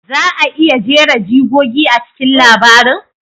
Za a iya jera jigogi a cikin labarin?